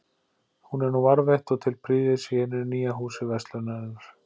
Hún er nú varðveitt og til prýðis í hinu nýja Húsi verslunarinnar.